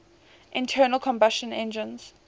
internal combustion engines